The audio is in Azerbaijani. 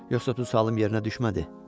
Yoxsa tutdu sualım yerinə düşmədi?